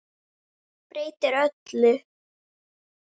Breytir öllu.